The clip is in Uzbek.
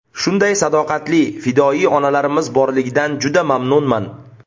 Shunday sadoqatli, fidoyi onalarimiz borligidan juda mamnunman.